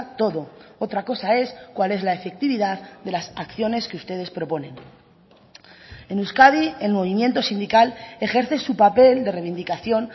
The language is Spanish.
todo otra cosa es cuál es la efectividad de las acciones que ustedes proponen en euskadi el movimiento sindical ejerce su papel de reivindicación